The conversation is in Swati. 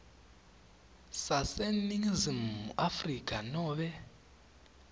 saseningizimu afrika nobe